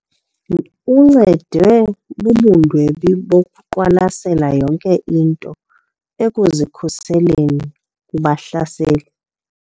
Uncedwe bubundwebi bokuqwalasela yonke into ekuzikhuseleni kubahlaseli.